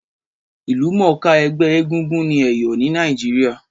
Ìlúmònká ẹgbẹ́ egúngún ni Èyò ni Naíjiria